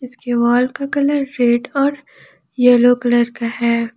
दीवाल का colour red और येलो कलर का है।